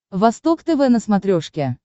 восток тв на смотрешке